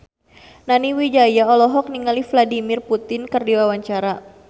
Nani Wijaya olohok ningali Vladimir Putin keur diwawancara